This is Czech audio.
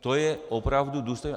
To je opravdu důstojné.